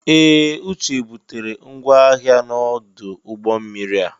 Ee! Uche butere ngwa ahịa ya n'ọdụ ụgbọ mmiri a.